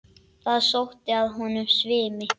Það sótti að honum svimi.